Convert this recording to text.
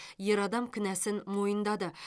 ер адам кінәсін мойындады